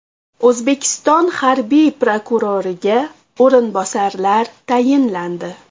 O‘zbekiston harbiy prokuroriga o‘rinbosarlar tayinlandi.